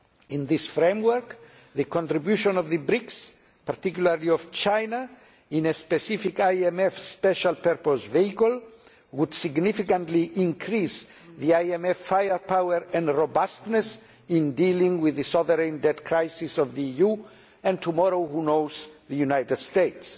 In this framework, the contribution of the BRICS, and particularly of China, in a specific IMF special purpose vehicle, would significantly increase IMF firepower and robustness in dealing with the sovereign debt crisis of the EU and tomorrow who knows of the United States.